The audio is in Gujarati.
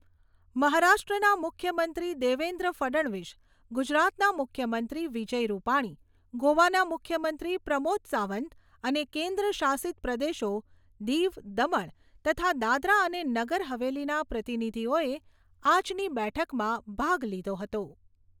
મહારાષ્ટ્રના મુખ્યમંત્રી દેવેન્દ્ર ફડણવીસ, ગુજરાતના મુખ્યમંત્રી વિજય રૂપાણી, ગોવાના મુખ્યમંત્રી પ્રમોદ સાવંત અને કેન્દ્ર શાસિત પ્રદેશો દીવ, દમણ તથા દાદરા અને નગર હવેલીના પ્રતિનિધીઓએ આજની બેઠકમાં ભાગ લીધો હતો.